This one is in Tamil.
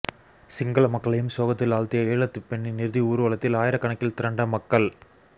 சிங்கள மக்களையும் சோகத்தில் ஆழ்த்திய ஈழத்துப்பெண்ணின் இறுதி ஊர்வலத்தில் ஆயிரக்கணக்கில் திரண்ட மக்கள்